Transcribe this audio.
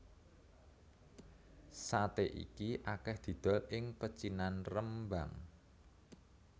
Saté iki akeh didol ing pecinan Rembang